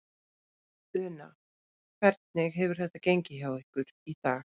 Una: Hvernig hefur þetta gengið hjá ykkur í dag?